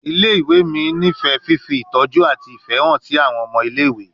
Ile-iwe mi nifẹ fifi itọju ati ifẹ han si awọn ọmọ ile-iwe